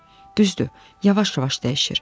Düzdür, yavaş-yavaş dəyişir.